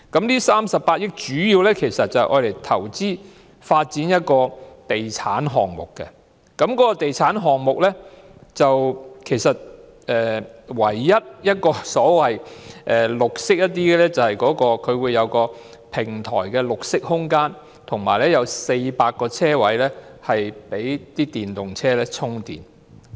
那38億元主要投資發展地產項目，該地產項目唯一與綠色有關的，就是平台設有一個綠色空間及設有400個供電動車充電的車位。